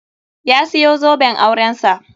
Ya siyo zoben auren sa.